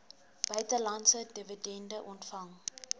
buitelandse dividende ontvang